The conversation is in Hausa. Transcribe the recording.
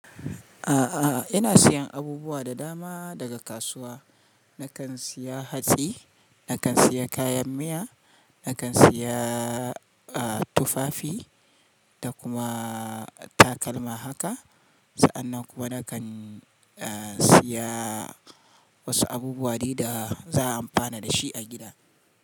A'a, ina siyan abubuwa da dama daga kasuwa. Nakan siya hatsi, nakan siya kayan miya, nakan siya, ah, tufafi da kuma takalma haka. Sa'an nan kuma nakan, siya wasu abubuwa dai da za a amfana da shi a gida.